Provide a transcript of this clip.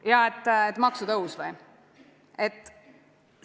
Ja et maksutõus või?